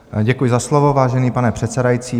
Děkuji za slovo, vážený pane předsedající.